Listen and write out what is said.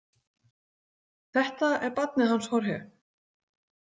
Þetta er barnið hans Jorge.